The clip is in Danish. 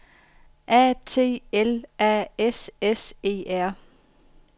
A T L A S S E R